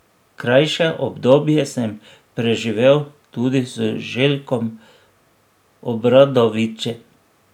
Krajše obdobje sem preživel tudi z Željkom Obradovićem.